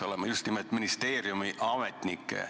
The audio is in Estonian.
Mõtlen just nimelt ministeeriumi ametnikke.